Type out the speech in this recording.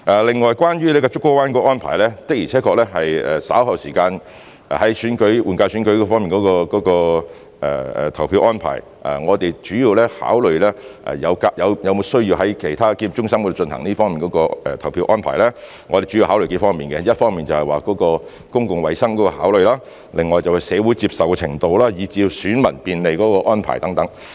另外，關於竹篙灣的安排，的而且確，在稍後時間，關於換屆選舉的投票安排，我們考慮是否有需要在其他檢疫中心作出這方面的投票安排時，我們主要考慮數方面，一方面是公共衞生的考慮，另外是社會的接受程度，以至便利選民的安排等。